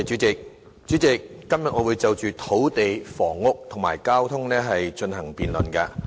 主席，今天我會討論土地、房屋及交通政策等範疇。